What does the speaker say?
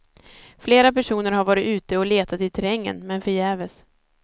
Flera personer har varit ute och letat i terrängen, men förgäves.